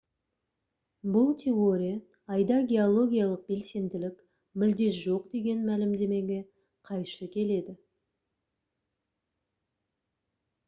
бұл теория айда геологиялық белсенділік мүлде жоқ деген мәлімдемеге қайшы келеді